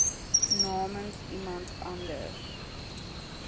namens iemand anders